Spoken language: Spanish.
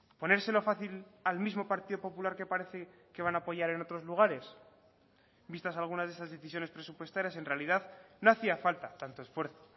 ponérselo fácil al mismo partido popular que parece que van a apoyar en otros lugares vistas algunas de esas decisiones presupuestarias en realidad no hacía falta tanto esfuerzo